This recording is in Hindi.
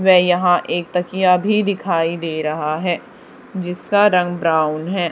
वे यहां एक तकिया भी दिखाई दे रहा है जिसका रंग ब्राउन है।